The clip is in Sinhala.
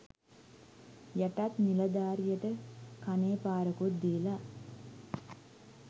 යටත් නිලධාරියට කනේ පාරකුත් දීල